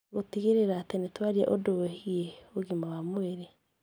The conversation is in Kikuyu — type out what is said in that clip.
Gũtigĩrĩra atĩ nĩ tũaria ũndũ wĩgiĩ ũgima wa mwĩrĩ